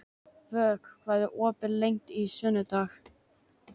Vök, hvað er opið lengi á sunnudaginn?